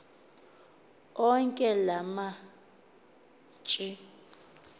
onke la mashi